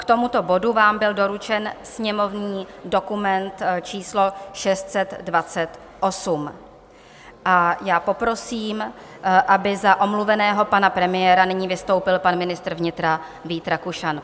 K tomuto bodu vám byl doručen sněmovní dokument číslo 628 a já poprosím, aby za omluveného pana premiéra nyní vystoupil pan ministr vnitra Vít Rakušan.